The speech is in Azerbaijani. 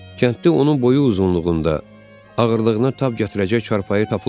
Kənddə onun boyu uzunluğunda, ağırlığına tab gətirəcək çarpayı tapılmadı.